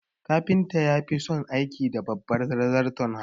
Kafinta ya fison aiki da babbar zarton hannu